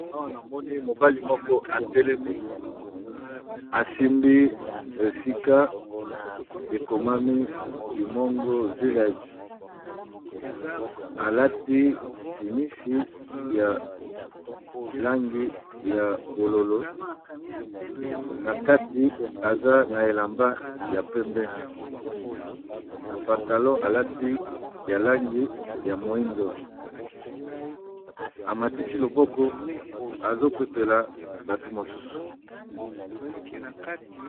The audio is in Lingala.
Awa namoni mobali moko atelemi asimbi esika ekomami kimongo village alati simisi ya langi ya bololo na kati aza na elamba ya pembe na pantalon alati ya langi ya moindo amatisi loboko azopepela bato mosusu.